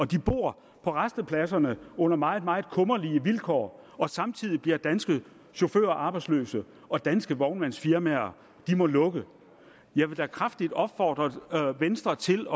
de bor på rastepladserne under meget meget kummerlige vilkår samtidig bliver danske chauffører arbejdsløse og danske vognmandsfirmaer må lukke jeg vil da kraftigt opfordre venstre til